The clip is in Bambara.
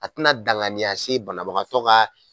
A tɛna danganiya se banabagatɔ ka